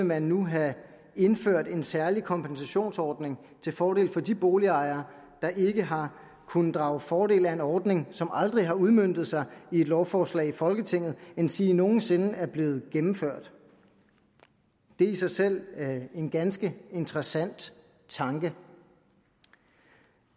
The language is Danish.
man nu have indført en særlig kompensationsordning til fordel for de boligejere der ikke har kunnet drage fordel af en ordning som aldrig har udmøntet sig i et lovforslag i folketinget endsige nogen sinde er blevet gennemført det er i sig selv en ganske interessant tanke